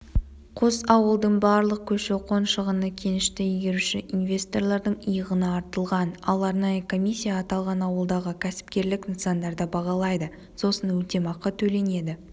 қос ауылдың барлық көші-қон шығыны кенішті игеруші инвесторлардың иығына артылған ал арнайы комиссия аталған ауылдағы кәсіпкерлік нысандарды бағалайды сосын өтемақы төленеді